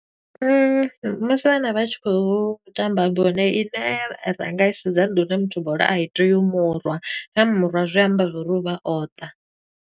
Musi vhana vha tshi khou tamba bola, i ne ra nga i sedza ndi uri muthu bola a i tei u murwa. Ya murwa zwi amba zwa uri u vha o ṱa.